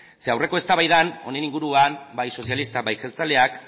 ze aurreko eztabaidan honen inguruan bai sozialistak eta bai jeltzaleak